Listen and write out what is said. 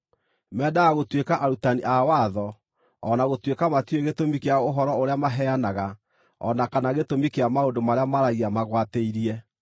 Mendaga gũtuĩka arutani a watho, o na gũtuĩka matiũĩ gĩtũmi kĩa ũhoro ũrĩa maheanaga o na kana gĩtũmi kĩa maũndũ marĩa maaragia magwatĩirie.